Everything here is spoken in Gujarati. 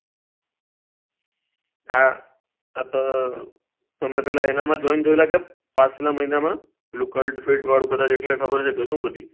હા હતો તમે એમાં જોઈન થયેલા કે પાર્થ ના મહિના માં પેલા કાલ્ત ફિલ્ટ વાળું કદાચ એટલે ખબર થે બધું